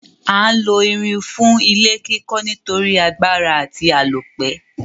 A n lo irin fún ilé kíkó nítorí agbára àti àlópẹ́